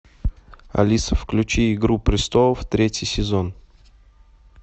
алиса включи игру престолов третий сезон